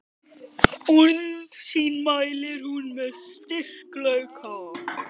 Orð sín mælir hún með styrkleika.